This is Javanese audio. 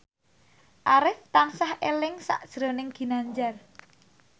Arif tansah eling sakjroning Ginanjar